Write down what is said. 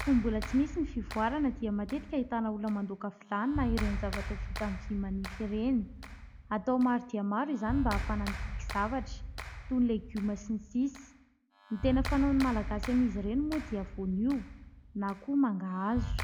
Fony mbola tsy nisy ny fivoarana dia matetika ahitana olona mandoaka vilany na ireny zavatra vita amin'ny vy manify ireny. Atao maro dia maro izany mba ahafahana mikiky zavatra toy ny legioma sy ny sisa. Ny tena fanaon'ny malagasy amin'izy ireny moa dia voanio na koa mangahazo